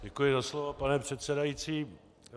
Děkuji za slovo, pane předsedající.